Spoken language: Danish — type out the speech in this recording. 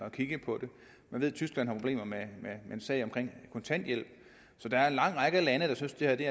at kigge på man ved at tyskland har problemer med en sag om kontanthjælp så der er en lang række lande der synes at det